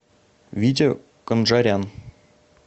витя конджарян